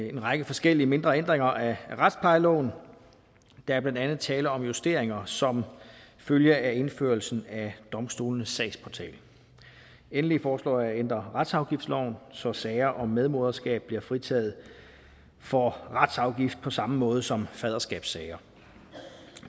en række forskellige mindre ændringer af retsplejeloven der er blandt andet tale om justeringer som følge af indførelsen af domstolenes sagsportal endelig foreslår jeg at ændre retsafgiftsloven så sager om medmoderskab bliver fritaget for retsafgift på samme måde som faderskabssager